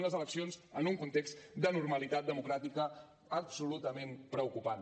unes eleccions en un context d’anormalitat democràtica absolutament preocupant